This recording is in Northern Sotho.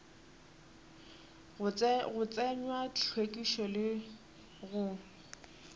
go tsenywa hlwekišo le go